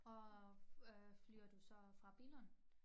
Og øh flyver du så fra Billund